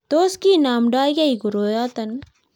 tos kinomtokei koroyoto?